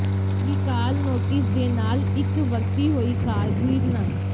recall notice ਦੇ ਨਾਲ ਇਕ ਵਰਤੀ ਹੋਈ ਕਾਰ ਖ਼ਰੀਦਣਾ